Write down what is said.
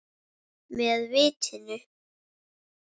Með vitinu.